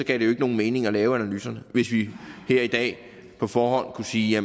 jo ikke nogen mening at lave analyserne hvis vi her i dag på forhånd kunne sige at